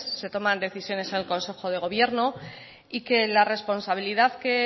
se toman decisiones en el consejo de gobierno y que la responsabilidad que